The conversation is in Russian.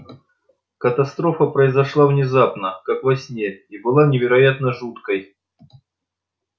катастрофа произошла внезапно как во сне и была невероятно жуткой